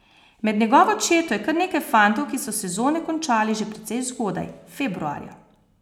Med njegovo četo je kar nekaj fantov, ki so sezone končali že precej zgodaj, februarja.